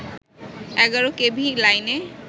১১ KV লাইনে